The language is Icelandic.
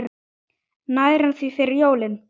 Nær hann því fyrir jólin?